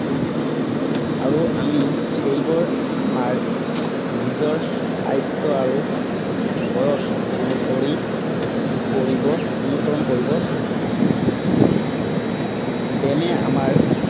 আৰু আমি সেইবোৰ আমাৰ, নিজৰ স্বাস্থ্য় আৰু বয়স অনুসৰি কৰিব অনুসৰণ কৰিব লাগিব। ব্য়ায়ামে আমাৰ